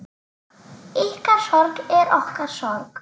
Ykkar sorg er okkar sorg.